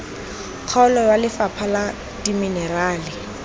kgaolo wa lefapha la dimenerale